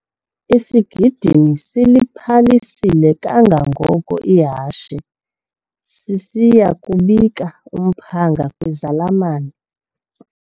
Isigidimi siliphalise kangangoko ihashe sisiya kubika umphanga kwizalamane.